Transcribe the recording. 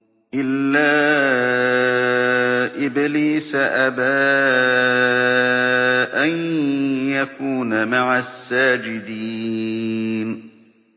إِلَّا إِبْلِيسَ أَبَىٰ أَن يَكُونَ مَعَ السَّاجِدِينَ